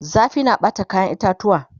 zafi na Bata kayan itatuwa